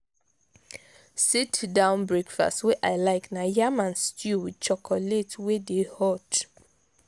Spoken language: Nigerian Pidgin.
sit-down breakfast wey i like na yam and stew wit chocolate wey dey hot.